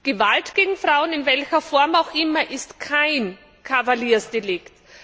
Gewalt gegen Frauen, in welcher Form auch immer, ist kein Kavaliersdelikt.